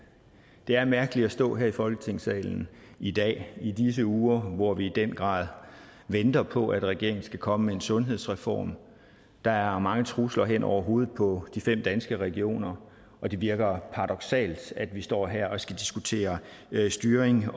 det er mærkeligt at stå her i folketingssalen i dag i disse uger hvor vi i den grad venter på at regeringen skal komme med en sundhedsreform der er mange trusler hen over hovedet på de fem danske regioner og det virker paradoksalt at vi står her og skal diskutere styring